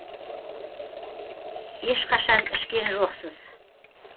ешқашан ішкен жоқсыз